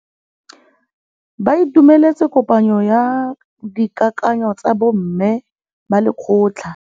Ba itumeletse kôpanyo ya dikakanyô tsa bo mme ba lekgotla.